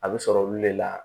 A bɛ sɔrɔ olu le la